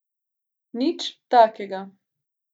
Nič takega.